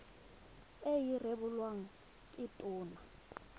e e rebolwang ke tona